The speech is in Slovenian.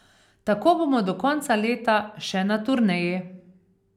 Tako bomo do konca leta še na turneji.